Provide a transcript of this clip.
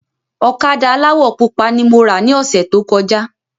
Ọ̀kadà aláwọ̀ pupa ni mo rà ni ọ̀sẹ̀ tó kọjá